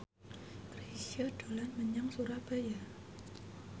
Chrisye dolan menyang Surabaya